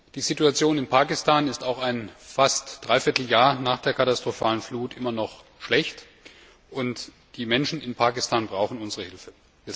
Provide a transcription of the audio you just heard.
Die Situation in Pakistan ist auch fast ein dreiviertel Jahr nach der katastrophalen Flut immer noch schlecht, und die Menschen in Pakistan brauchen unsere Hilfe.